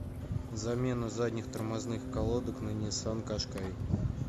замена задних тормозных колодок на ниссан кашкай